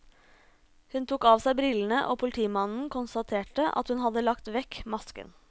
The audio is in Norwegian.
Hun tok av seg brillene og politimannen konstaterte at hun hadde lagt vekk masken.